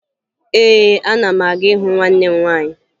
Ee, ana m aga ịhụ nwanne m nwaanyị